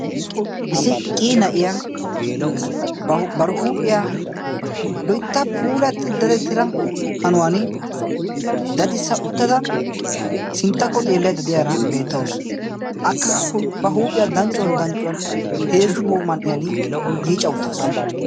Issi qii na'iyaa bar huuphiyaa loitta puulatti dadetira hanuwan dadi uttada sinttakko xeellai dadiyaara beettaasu akka ba huuphiyaa danccuwan danccuwan heezzu man'iyan yiica uttaasu.